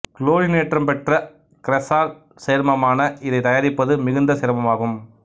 குளோரினேற்றம் பெற்ற கிரெசால் சேர்மமான இதை தயாரிப்பது மிகுந்த சிரமமாகும்